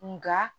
Nga